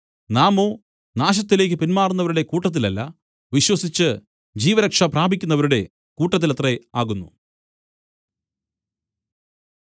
നാമോ നാശത്തിലേക്കു പിന്മാറുന്നവരുടെ കൂട്ടത്തിലല്ല വിശ്വസിച്ചു ജീവരക്ഷ പ്രാപിക്കുന്നവരുടെ കൂട്ടത്തിലത്രേ ആകുന്നു